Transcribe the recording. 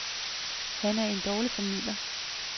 Han er en dårlig formidler.